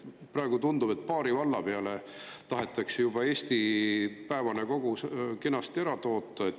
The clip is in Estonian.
Praegu tundub, et paari valla peale tahetakse juba Eesti päevane kogus kenasti ära toota.